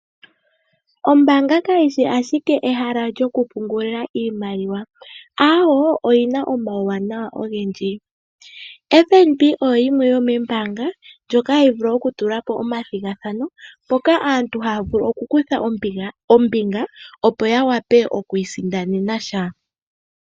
Ombanga kayishi ashike ehala lyokupungula iimaliwa awo oyina omauwanawa ogendji. Fnb oyo yimwe yomeenbanga ndjoka hayi vulu okutula omathigathano mpoka aantu haya vulu okukutha ombinga opo yawape okwiisindanen sha.